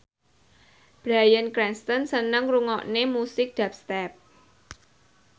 Bryan Cranston seneng ngrungokne musik dubstep